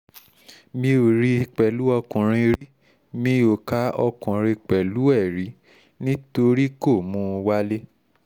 mi ò rí i pẹ̀lú ọkùnrin rí mi ò ka ọkùnrin kankan pẹ̀lú ẹ̀ rí nítorí kó mú un wálé